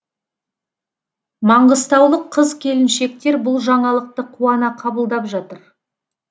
маңғыстаулық қыз келіншектер бұл жаңалықты қуана қабылдап жатыр